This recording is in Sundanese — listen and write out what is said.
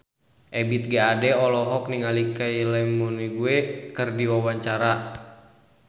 Ebith G. Ade olohok ningali Kylie Minogue keur diwawancara